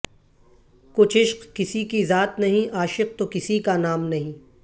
کچھ عشق کسی کی ذات نہیں عاشق تو کسی کا نام نہیں